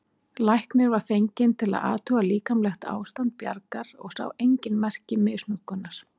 Læknir var fenginn til að athuga líkamlegt ástand Bjargar og sá engin merki misnotkunar.